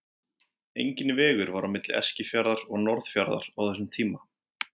Enginn vegur var á milli Eskifjarðar og Norðfjarðar á þessum tíma.